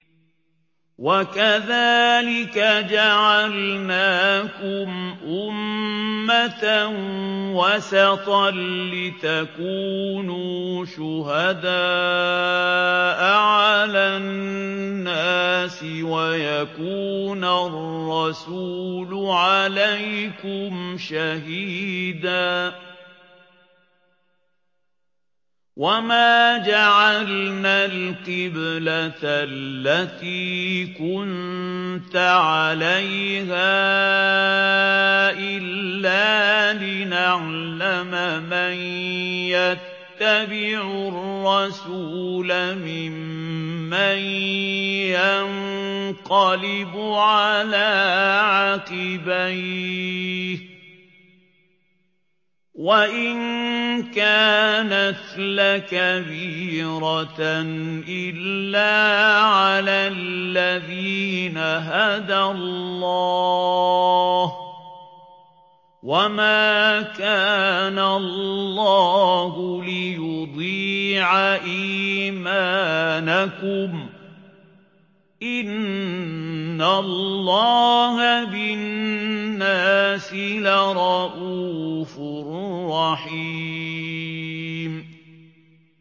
وَكَذَٰلِكَ جَعَلْنَاكُمْ أُمَّةً وَسَطًا لِّتَكُونُوا شُهَدَاءَ عَلَى النَّاسِ وَيَكُونَ الرَّسُولُ عَلَيْكُمْ شَهِيدًا ۗ وَمَا جَعَلْنَا الْقِبْلَةَ الَّتِي كُنتَ عَلَيْهَا إِلَّا لِنَعْلَمَ مَن يَتَّبِعُ الرَّسُولَ مِمَّن يَنقَلِبُ عَلَىٰ عَقِبَيْهِ ۚ وَإِن كَانَتْ لَكَبِيرَةً إِلَّا عَلَى الَّذِينَ هَدَى اللَّهُ ۗ وَمَا كَانَ اللَّهُ لِيُضِيعَ إِيمَانَكُمْ ۚ إِنَّ اللَّهَ بِالنَّاسِ لَرَءُوفٌ رَّحِيمٌ